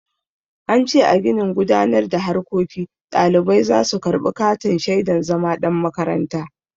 An ce a ginin gudanar da harkoki ɗalibai za su karɓi katin shaidan zama ɗan makaranta.